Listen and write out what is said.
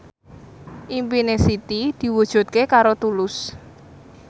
impine Siti diwujudke karo Tulus